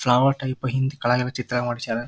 Flower type ಹಿಂದ್ ಕೆಳಗೆಲ್ಲಾ ಚಿತ್ರ ಮಾಡ್ಸಯರ್.